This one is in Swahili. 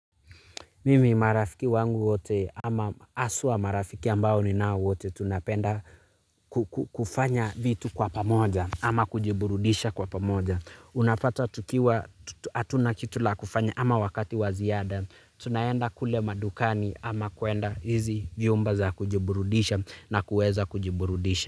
Mimi marafiki wangu wote ama haswa marafiki ambao ninao wote tunapenda kufanya vitu kwa pamoja ama kujiburudisha kwa pamoja. Unapata tukiwa hatuna kitu la kufanya ama wakati wa ziada. Tunaenda kule madukani ama kuenda hizi vyumba za kujiburudisha na kueza kujiburudisha.